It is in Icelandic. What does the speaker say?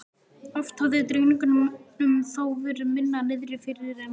Oft hafði drengnum þó verið minna niðri fyrir en nú.